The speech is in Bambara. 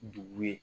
Dugu ye